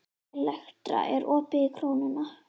Elektra, er opið í Krónunni?